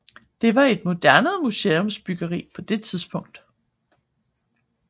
Det var et moderne museumsbyggeri på det tidspunkt